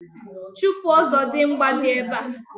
Chupu Ọzọdimgba di ebe a.